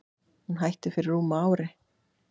Hún hætti fyrir rúmu ári.